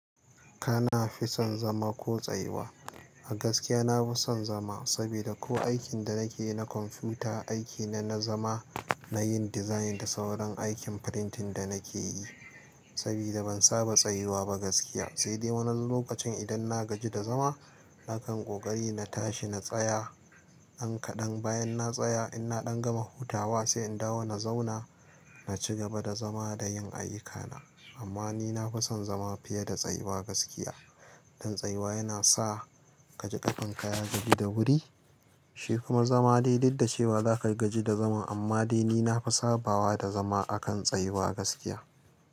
Kana fi son zama ko tsayuwa? A gaskiya na fi son zama saboda ko aikin da nake na kwamfuta aiki ne, na zama nayin design da sauran aikin printing da nake yi sabida ban saba tsayuwa ba gaskiya. Sai dai wani lokacin idan na gaji da zama, na kan ƙoƙari na tashi na tsaya ɗan kaɗan bayan na tsaya in na ɗan gama hutawa sai in dawo na zauna na ci gaba da zama da yin ayyukana. Amma ni na fi son zama fiye da tsayuwa gaskiya. Dan tsayuwa yana sa ka ji ƙafanka ya gaji da wuri, shi kuma zama dai duk da cewa zaka gaji da zaman amma dai ni na fi sabawa da zama akan tsayuwa gaskiya.